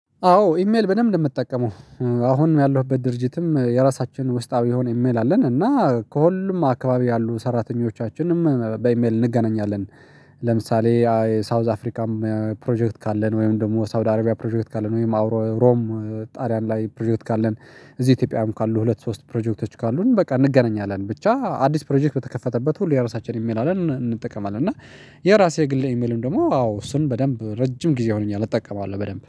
አዎ ኢሜል በደንብ ነው የምጠቀመው። አሁንም ያለሁበት ድርጅትም የራሳችን ውስጣዊ የሆነ ኢሜል አለን እና ከሁሉም አካባቢ ያሉ ሰራተኞቻችንም በኢሜል እንገናኛለን። ለምሳሌ የሳውዝ አፍሪካም ፕሮጀክት ካለን ወይም ደግሞ ሳውዲ አረቢያ ፕሮጀክት ካለን ወይም አብሮ ሮም ጣልያን ላይ ፕሮጀክት ካለን። እዚህ ኢትዮጵያም ካሉ ሁለት ሶስት ፕሮጀክቶች ካሉን በቃ እንገናኛለን ብቻ አዲስ ፕሮጀክት በተከፈተበት ሁሉ የራሳችንን የሚል አለን እንጠቀማለን እና። የራሴ የግሌ ኢሜልም ደግሞ አዎ እሱንም በደንብ ረጅም ጊዜ ሆኖኛል እጠቀመዋለሁ በደንብ